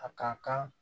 A ka kan